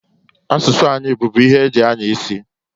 Asụsụ anyị bubu ihe eji anya isi.